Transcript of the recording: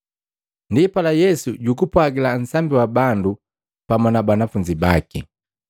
Ndipala Yesu jugupwagila nsambi wa bandu pamu na banafunzi baki.